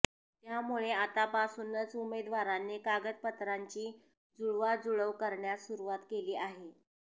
त्यामुळे आतापासूनच उमेदवारांनी कागदपत्रांची जुळवाजुळव करण्यास सुरुवात केली आहे